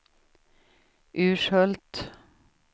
Urshult